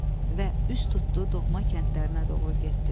Və üz tutdu doğma kəndlərinə doğru getdi.